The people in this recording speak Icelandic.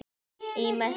Í messi.